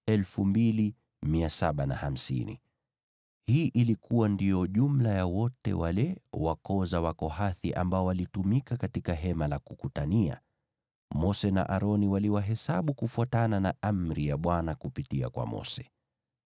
Hii ilikuwa ndiyo jumla ya wote wale wa koo za Wakohathi ambao walitumika katika Hema la Kukutania. Mose na Aroni waliwahesabu kufuatana na amri ya Bwana kupitia kwa Mose.